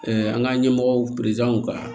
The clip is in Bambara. an ka ɲɛmɔgɔw ka